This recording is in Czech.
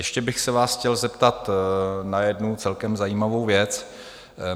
Ještě bych se vás chtěl zeptat na jednu celkem zajímavou věc.